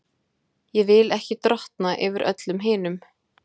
Ég vil ekki drottna yfir öllum hinum.